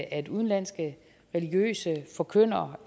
at udenlandske religiøse forkyndere